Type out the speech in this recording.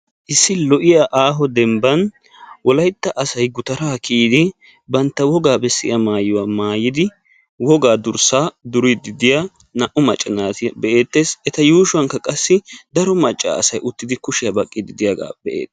Issi lo7iya aaho demban wolaytta asay gutaraa kiyidi bantta wogaa bessiya maayuwa maayidi wogaa durssaa duriiddi diya naa"u maacca naata be"eettes. Eta yuushuwankka qassi daro macca asay uttidi kushiya baqqiiddi de"iyaaga be"eettes.